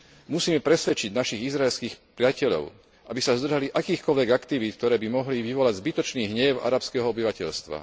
Musíme presvedčiť našich izraelských priateľov, aby sa zdržali akýchkoľvek aktivít, ktoré by mohli vyvolať zbytočný hnev arabského obyvateľstva.